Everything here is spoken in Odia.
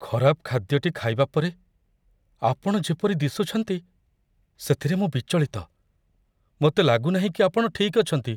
ଖରାପ ଖାଦ୍ୟଟି ଖାଇବା ପରେ ଆପଣ ଯେପରି ଦିଶୁଛନ୍ତି, ସେଥିରେ ମୁଁ ବିଚଳିତ। ମୋତେ ଲାଗୁନାହିଁ କି ଆପଣ ଠିକ୍ ଅଛନ୍ତି।